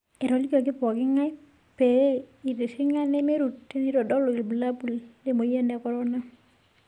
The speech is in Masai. Etolikioki pooking'ae pee eitiring'a nemeirut teneitodolu ilbulabul lemoyian e korona.